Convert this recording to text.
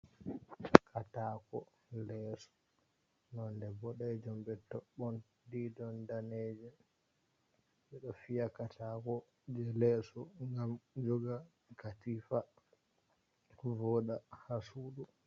Katako lesso nonde boɗejum be toɓɓon didon ɗaneje, ɓe ɗo fiya katako je lesso ngam joga katifa, voɗa ha sudu.